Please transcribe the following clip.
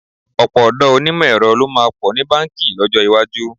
Ọ̀pọ̀ ọ̀dọ́ onímọ̀ ẹ̀rọ ló máa pọ̀ ní báǹkì lọ́jọ́ iwájú.